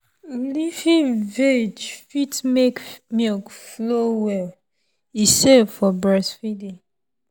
leafy veg fit make milk flow well and e safe for breastfeeding.